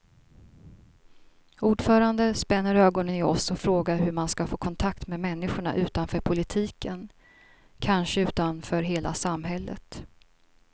Ordföranden spänner ögonen i oss och frågar hur man ska få kontakt med människorna utanför politiken, kanske utanför hela samhället.